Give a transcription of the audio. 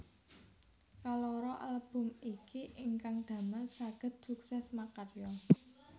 Kaloro album iki ingkang damel sagéd sukses makarya